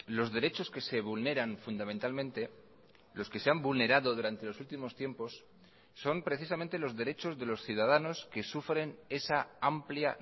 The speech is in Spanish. los derechos que se vulneran fundamentalmente los que se han vulnerado durante los últimos tiempos son precisamente los derechos de los ciudadanos que sufren esa amplia